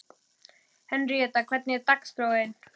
Henríetta, hvernig er dagskráin?